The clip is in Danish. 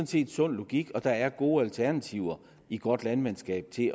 set sund logik og der er gode alternativer i godt landmandskab til at